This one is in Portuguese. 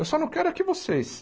Eu só não quero é que vocês.